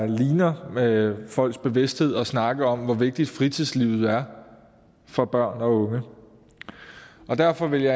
ligner folks bevidsthed at snakke om hvor vigtigt fritidslivet er for børn og unge derfor ville